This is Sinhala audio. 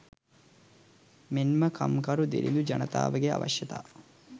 මෙන්ම කම්කරු දිලිඳු ජනතාවගේ අවශ්‍යතා